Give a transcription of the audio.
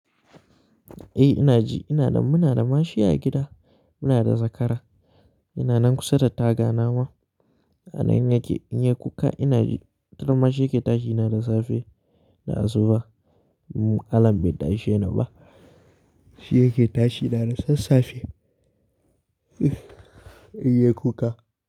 Eh ina ji, muna da ma shi a gida. Muna da zakara. Ina nan kusa da taga na ma. A nan yake in yayi kuka ina ji, wataran ma shi yake tashi na da safe da asuba. Alarm bai tashe ni ba. Shi yake tashi na da sassafe. In yayi kuka.